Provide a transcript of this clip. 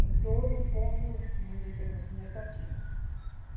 Em todo mundo recebemos negativo.